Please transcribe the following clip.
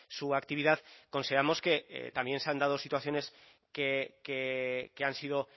su actividad consideramos que también se han dado situaciones que han sido